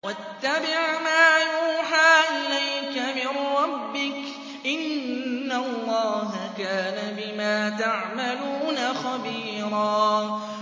وَاتَّبِعْ مَا يُوحَىٰ إِلَيْكَ مِن رَّبِّكَ ۚ إِنَّ اللَّهَ كَانَ بِمَا تَعْمَلُونَ خَبِيرًا